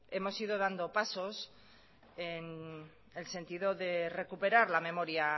hemos ido dando pasos en el sentido de recuperar la memoria